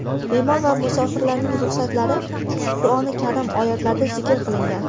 Bemor va musofirlarning ruxsatlari Qur’oni Karim oyatlarida zikr qilingan.